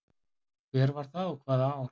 Hver var það og hvaða ár?